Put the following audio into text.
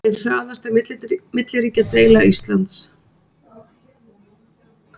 Ein harðasta milliríkjadeila Íslands